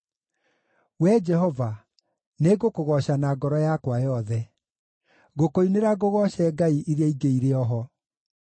Wee Jehova, nĩngũkũgooca na ngoro yakwa yothe; ngũkũinĩra ngũgooce ngai iria ingĩ irĩ o ho.